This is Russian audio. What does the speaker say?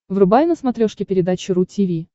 врубай на смотрешке передачу ру ти ви